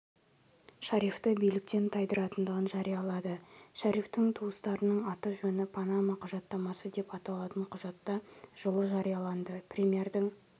шарифті биліктен тайдыратындығын жариялады шарифтің туыстарының аты-жөні панама құжаттамасы деп аталатын құжатта жылы жарияланды премьердің